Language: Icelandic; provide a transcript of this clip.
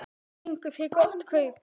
Fenguð þið gott kaup?